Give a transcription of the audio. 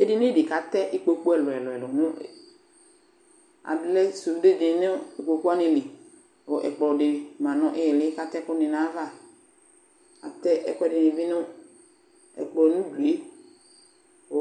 Edini dɩ kʋ atɛ ikpoku ɛlʋ-ɛlʋ nʋ alɛ sunde dɩnɩ nʋ kpoku wanɩ li kʋ ɛkplɔ dɩ ma nʋ ɩɩli kʋ atɛ ɛkʋnɩ nʋ ayava Atɛ ɛkʋɛdɩnɩ bɩ nʋ ɛkplɔ nʋ udu yɛ kʋ